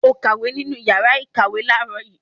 O kàwé nínú ìyàrá-ìkàwé láàárọ̀ yìí?